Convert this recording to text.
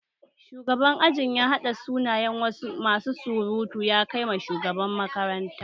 Shugaban aji ya hada sunayen masu surutu ya Kai ma shugaban makaranta